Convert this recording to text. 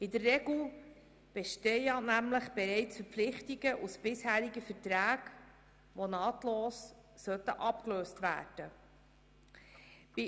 In der Regel bestehen in solchen Fällen ja nämlich bereits Verpflichtungen aus bisherigen Verträgen, die nahtlos abgelöst werden sollten.